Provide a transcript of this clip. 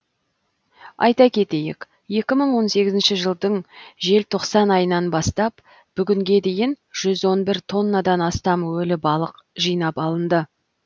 айта кетейік екі мың он сегізінші жылдың желтоқсан айынан бастап бүгінге дейін жүз он бір тоннадан астам өлі балық жинап алынды